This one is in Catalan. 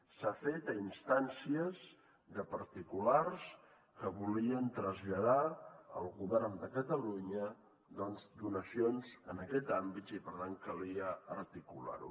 s’ha fet a instàncies de particulars que volien traslladar al govern de catalunya doncs donacions en aquest àmbit i per tant calia articular ho